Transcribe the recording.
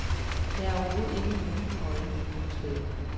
Der er overhovedet ikke nogen øjne nogen steder.